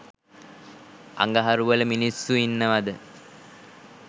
අඟහරු වල මින්ස්සු ඉන්නවද